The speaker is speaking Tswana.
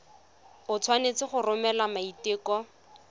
o tshwanetse go romela maiteko